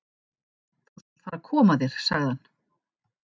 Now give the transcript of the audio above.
Þú skalt fara að koma þér, sagði hann.